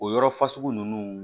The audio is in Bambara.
O yɔrɔ fasugu ninnu